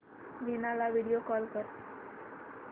वीणा ला video call कर